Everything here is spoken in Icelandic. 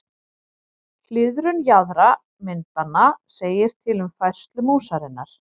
Hliðrun jaðra myndanna segir til um færslu músarinnar.